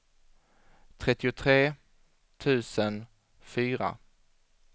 trettiotre tusen fyra